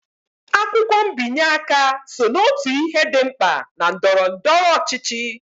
Akwụkwọ mbinye aka so n'otu ihe dị mkpa na ndọrọndọrọ ọchịchị